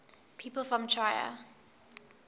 people from trier